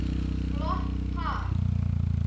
Flott par.